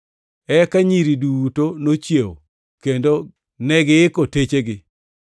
“Eka nyiri duto nochiew kendo negiiko techegi.